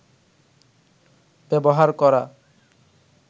ব্যবহার করা